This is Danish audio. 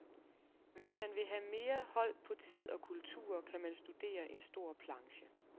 Hvis man vil have mere hold på tid og kulturer, kan man studere en stor planche.